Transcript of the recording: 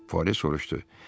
Puare soruşdu.